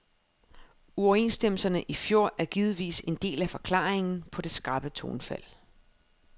Uoverenstemmelserne i fjor er givetvis en del af forklaringen på det skarpe tonefald.